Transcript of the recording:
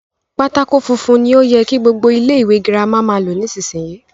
Pátákó funfun ni o yẹ kí gbogbo ilé ìwé girama máa lò nísìyí.